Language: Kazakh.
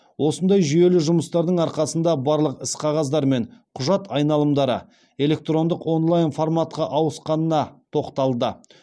осындай жүйелі жұмыстардың арқасында барлық іс қағаздар мен құжат айналымдары электрондық онлайн форматқа ауысқанына тоқталды